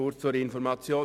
Kurz zur Information